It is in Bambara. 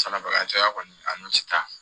Sarabaga cayara kɔni a n'o ti taa